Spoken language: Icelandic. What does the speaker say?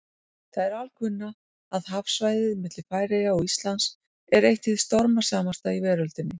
Það er alkunna, að hafsvæðið milli Færeyja og Íslands er eitt hið stormasamasta í veröldinni.